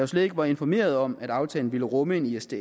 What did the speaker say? slet ikke var informeret om at aftalen ville rumme en isds